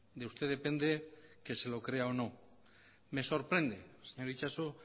de usted depende que se lo crea o no me sorprende señor itxaso